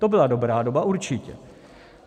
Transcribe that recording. To byla dobrá doba určitě.